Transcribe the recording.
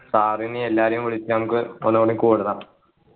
sir നേം എല്ലാരേയും വിളിച്ചു നമ്മക്ക് ഒന്നുകൂടി കൂടണം